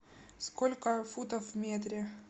сколько футов в метре